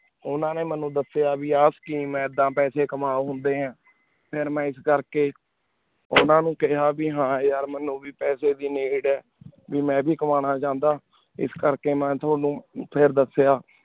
ਓਨਾ ਨੀ ਮੀਨੁ ਦਸ੍ਯ ਬੀ ਆ scheme ਏ ਏਡਾ ਪੀਸੀ ਕਮਾ ਹੁੰਦੇ ਹਨ ਫਿਰ ਮੈਂ ਇਸ ਕੇਰ ਕੀ ਓਨਾ ਨੂ ਕੇਯ੍ਹਾ ਬੀ ਹਨ ਯਾਰ ਮੀਨੁ ਵੀ ਪੈਸੇ ਦੀ ਨਿਡ ਆ ਮੈਂ ਵੀ ਕਾਮਨਾ ਚਾਹੰਦਾ ਇਸ ਕੇਰ ਕੀ ਮੈਂ ਤਾਵਾਨੁ ਫਿਰ ਦਸ੍ਯ